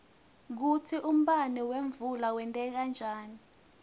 kutsi umbane wemvula wenteka njani